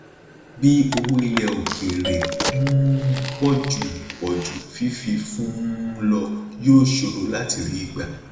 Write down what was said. bí owó ilẹ òkèèrè um pọ ju pọ ju fífi fún un lọ yóò ṣòro láti rí gba